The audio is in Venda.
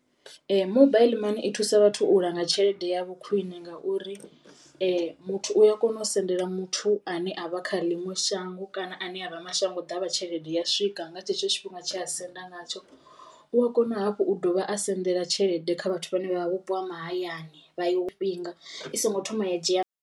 Ee mobile money i thusa vhathu u langa tshelede yavho khwine ngauri muthu u a kona u sendela muthu ane avha kha ḽiṅwe shango kana ane avha mashango ḓavha tshelede ya swika nga tshetsho tshifhinga tshea senda ngatsho, u a kona hafhu u dovha a sendela tshelede kha vhathu vhane vha vha vhupo ha mahayani vha yo i songo thoma ya dzhia.